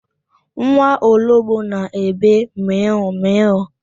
Nwa ologbo na-ebe mịụ mịụ.